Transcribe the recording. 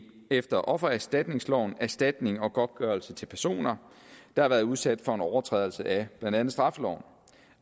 efter offererstatningsloven erstatning og godtgørelse til personer der har været udsat for en overtrædelse af blandt andet straffeloven